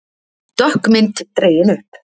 Dökk mynd dregin upp